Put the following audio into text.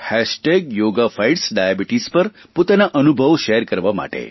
hashtag yoga fights diabetes પર પોતાના અનુભવો શેર કરવા માટે